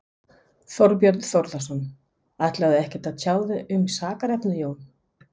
Þorbjörn Þórðarson: Ætlarðu ekkert að tjá þig um sakarefnið, Jón?